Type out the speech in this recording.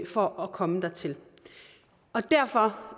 for at komme dertil derfor